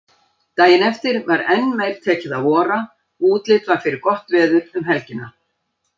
Daginn eftir var enn meir tekið að vora, útlit var fyrir gott veður um helgina.